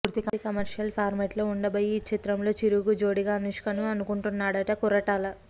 పూర్తి కమర్షియల్ ఫార్మాట్లో ఉండబోయే ఈ చిత్రంలో చిరుకు జోడీగా అనుష్కను అనుకుంటున్నాడట కొరటాల